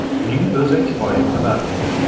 Shuning o‘zi kifoya qilar edi”.